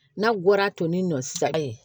N'a bɔra tonin nɔ sisan